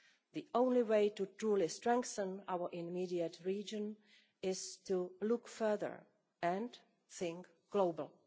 out. The only way truly to strengthen our immediate region is to look further and think globally.